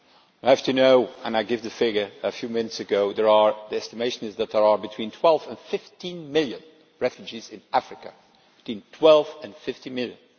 I happen to know and I gave the figure a few minutes ago that the estimation is that there are between 12 and 15 million refugees in Africa between 12 and 15 million!